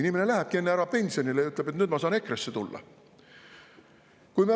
Inimene lähebki enne ära pensionile ja ütleb: "Nüüd ma saan EKRE‑sse tulla.